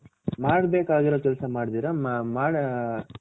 ಮಾಡಬೇಕಾಗಿರೋ ಕೆಲಸ ಮಾಡದಿರಾ